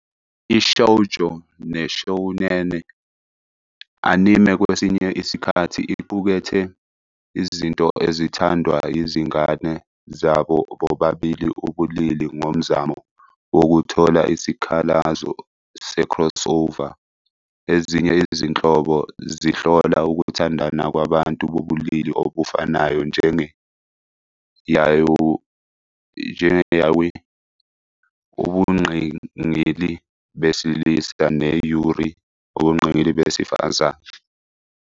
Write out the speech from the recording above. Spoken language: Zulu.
I-Shoujo ne-shounen anime kwesinye isikhathi iqukethe izinto ezithandwa yizingane zabo bobabili ubulili ngomzamo wokuthola isikhalazo se-crossover. Ezinye izinhlobo zihlola ukuthandana kwabantu bobulili obufanayo, njenge- "yaoi", ubungqingili besilisa, ne- "yuri", ubungqingili besifazane.